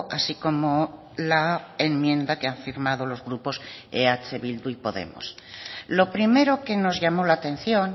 así como la enmienda que han firmado los grupos eh bildu y podemos lo primero que nos llamó la atención